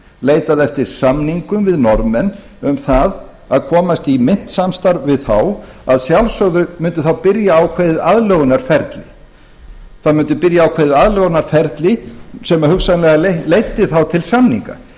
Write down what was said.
leitað eftir samningum við norðmenn um það að komast í myntsamstarf við þá að sjálfsögðu mundi þá byrja ákveðið aðlögunarferli sem hugsanlega leiddi þá til samninga